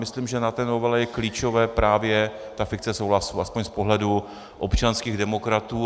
Myslím, že na té novele je klíčová právě ta fikce souhlasu, aspoň z pohledu občanských demokratů.